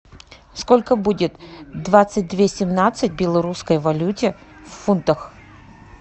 сколько будет двадцать две семнадцать в белорусской валюте в фунтах